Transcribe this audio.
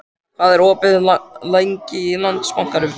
Maja, hvað er opið lengi í Landsbankanum?